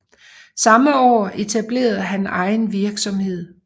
Samme år etablerede han egen virksomhed